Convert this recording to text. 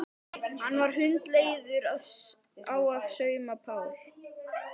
Hann var hundleiður á að sauma Pál.